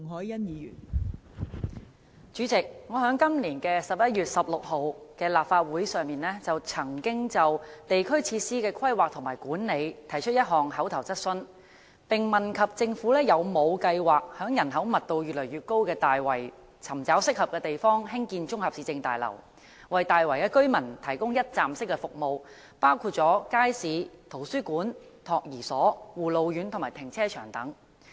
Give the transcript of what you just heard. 代理主席，我曾在今年11月16日的立法會會議上，就地區設施的規劃和管理提出一項口頭質詢，問及政府有否計劃在人口密度越來越高的大圍，尋找合適的地方興建綜合市政大樓，為大圍居民提供一站式服務，包括街市、圖書館、託兒所、護老院及停車場等。